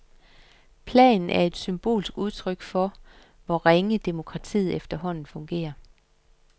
Planen er et symbolsk udtryk for, hvor ringe demokratiet efterhånden fungerer.